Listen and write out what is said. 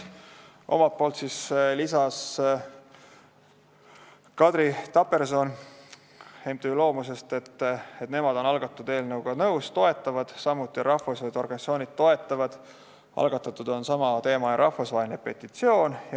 Omalt poolt lisas Kadri Taperson MTÜ-st Loomus, et nemad on algatatud eelnõuga nõus ja toetavad seda, samuti toetavad seda rahvusvahelised organisatsioonid, algatatud on samateemaline rahvusvaheline petitsioon.